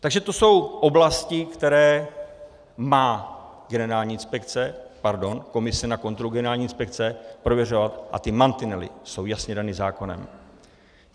Takže to jsou oblasti, které má komise na kontrolu generální inspekce prověřovat, a ty mantinely jsou jasně dány zákonem.